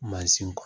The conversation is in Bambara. Mansin kɔ